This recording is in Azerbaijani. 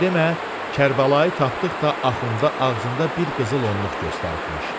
Sən demə, Kərbəlayı tapdıqca Axund ağzında bir qızıl onluq göstəribmiş.